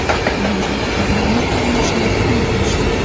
Menga ayolimning qarindoshlari tuhmat qilishdi.